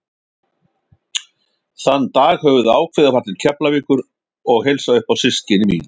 Þann dag höfðum við ákveðið að fara til Keflavíkur og heilsa upp á systkini mín.